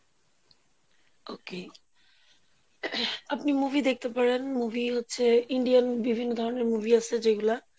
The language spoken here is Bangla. okay আপনি movie দেখতে পারেন movie হচ্ছে Indian বিভিন্ন ধরনের movie আছে যেগুলা,